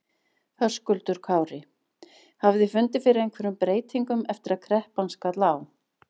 Höskuldur Kári: Hafið þið fundið fyrir einhverjum breytingum eftir að kreppan skall á?